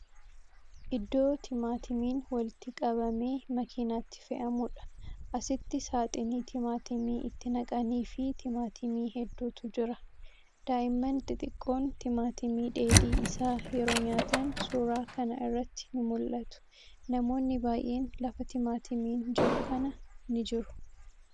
Iddoo Timaatimiin walitti qabamee makiinatti fe'amuudha. Asitti saaxinii timaatimii itti naqaniifii timaatimii hedduutu jira. Daa'imman xixiqqoon timaatimii dheedhii isaa yeroo nyaatan suuraa kana irratti ni mul'atu. Namoonni baay'een lafa timaatimiin jiru kana ni jiru.